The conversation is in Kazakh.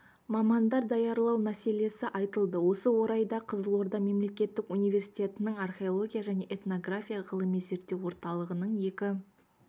мамандар даярлау мәселесі айтылды осы орайда қызылорда мемлекеттік университетінің археология және этнография ғылыми-зерттеу орталығының екі